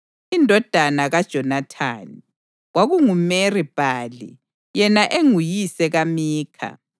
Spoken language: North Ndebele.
Indodana kaJonathani: kwakunguMeri-Bhali yena enguyise kaMikha.